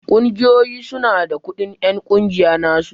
Ƙungiyoyi su na da kudin en ƙungiya na su.